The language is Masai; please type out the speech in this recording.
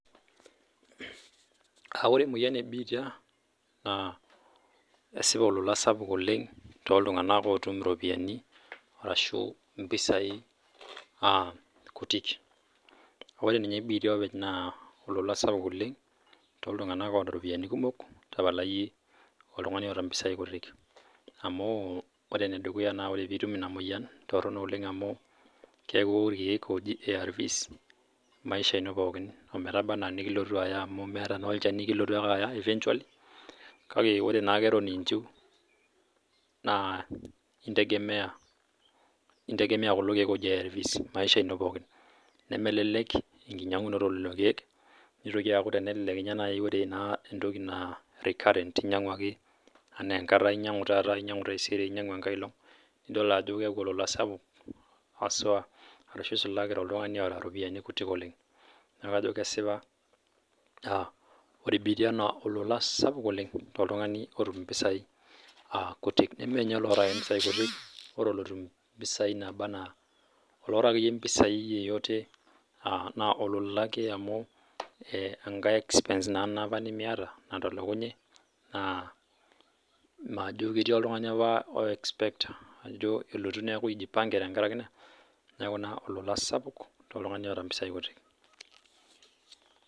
Ore emoyian ebitia kesipa Ajo olola too iltung'ana otum ropiani ashu mpisai kutik amu ore ninye bitia naa olola too iltung'ana otaa ropiani kumok tapala iyie oltung'ani otaa mpisai amu ore enedukuya tenitum ena moyian kitorrono oleng amu keeku ewok irkeek oji ARVs maisha ino pookin ometaba naa nikilotu Aya amu meeta naa olchani eventually kake ore naake Eton inju entegemea kulo keek oji ARCs maisha ino pookin nemelelek doi enkinyiangunoto elo keek nitoki aku tenelele naaji ore entoki naa recurrent inyiangua ake ena enkata inyiangua taata nainyiang'u taisere nainyiang'u enkailog edol Ajo keeku olola sapuk hasua ashu esulaki too oltung'ani otaa eropiani kutik oleng neeku kajo kesipa ore bitia naa olola sapuk oleng too oltung'ani otum mpisai kutik neme ninye ake olotum mpisai kutik ore olotum mpisai nabaa enaa olataa akeyie mpisai yoyote naa olola ake amu enkae expense ena nimiata natolokunye naa majo ketii apa oltung'ani oo expect ajoelotu neeku ejipange tenkaraki ena neeku olola sapuk too oltung'ani otaa mpisai kutik